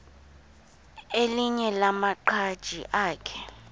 elinye lamaqhaji akhe